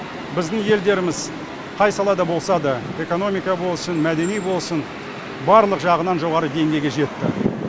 біздің елдеріміз қай салада болса да экономика болсын мәдени болсын барлық жағынан жоғары деңгейге жетті